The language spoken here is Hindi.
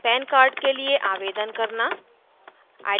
pan card के लिए आवेदन करना